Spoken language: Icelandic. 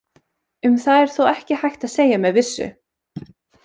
Um það er þó ekki hægt að segja með vissu.